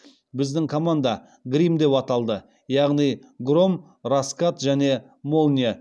біздің команда грим деп аталды яғни гром раскат және молния